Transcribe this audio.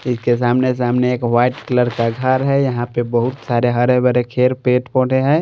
इसके सामने सामने एक वाइट कलर का घर है यहां पे बहुत सारे हरे भरे खेड़ पेट पौधे हैं।